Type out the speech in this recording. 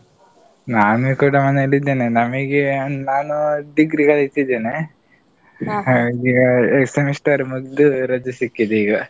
ನಾನು ಕೂಡ ಮನೇಲಿ ಇದ್ದೇನೆ. ನಮಿಗೆ ನಾನು Degree ಕಲಿತಿದ್ದೇನೆ. ಹಾಗೆ semester ಮುಗ್ದು ರಜೆ ಸಿಕ್ಕಿದೆ ಈಗ.